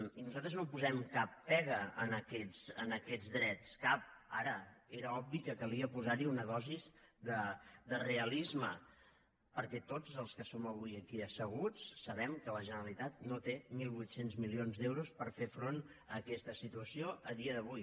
i nosaltres no posem cap pega a aquests drets cap ara era obvi que calia posar hi una dosi de realisme perquè tots els que som avui aquí asseguts sabem que la generalitat no té mil vuit cents milions d’euros per fer front a aquesta situació a dia d’avui